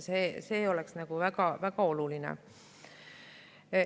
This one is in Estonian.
See oleks väga oluline.